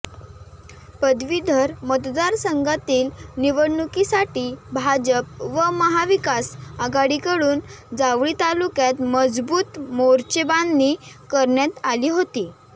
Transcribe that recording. पदवीधर मतदारसंघातील निवडणुकीसाठी भाजप व महाविकास आघाडीकडून जावळी तालुक्यात मजबूत मोर्चेबांधणी करण्यात आली होती